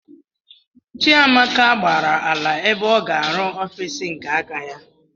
Chiamaka gbàrà ala ebe ọ ga-aru ọffici nke áká ya.